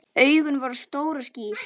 Augun voru stór og skýr.